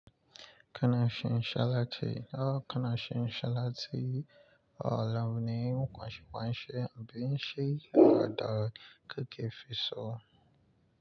Kana shin shala ti, kana shin shala ti, alamni kwashe kwashe, abinshi yarda keke fi so.